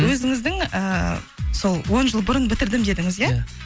өзіңіздің ііі сол он жыл бұрын бітірдім дедіңіз иә